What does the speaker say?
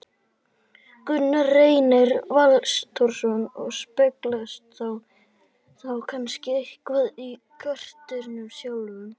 Gunnar Reynir Valþórsson: Og speglast það þá kannski eitthvað í karakternum sjálfum?